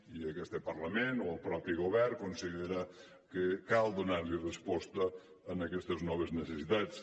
i aquest parlament o el mateix govern considera que cal donar resposta a aquestes noves necessitats